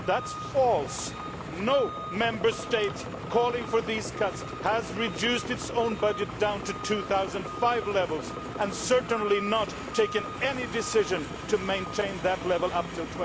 But that is false! No Member State calling for these cuts has reduced its own budget down to 2005 levels, and has certainly not taken any decision to maintain that level up to